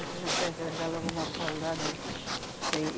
E se não presta, dá logo uma paulada aí. Que